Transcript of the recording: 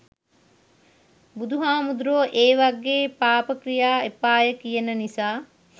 බුදුහාමුදුරුවො ඒ වගේ පාපක්‍රියා එපාය කියන නිසා